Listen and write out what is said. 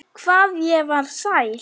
Hvað ég var sæl.